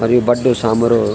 और ये बड्डे सामरू।